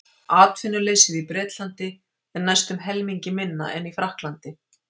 atvinnuleysið í bretlandi er næstum helmingi minna en í frakklandi